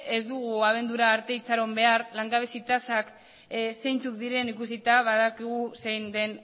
ez dugu abendura arte itxaron behar langabezi tasak zeintzuk diren ikusita badakigu zein den